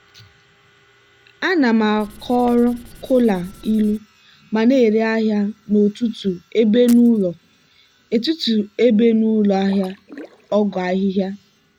ana m akọrọ kola ilu ma na-ere ahịa n'ọtụtụ ebe n'ụlọ ahịa ọgwụ ahịhịa.